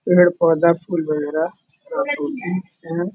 पेड़-पौधा फूल वगेरा है।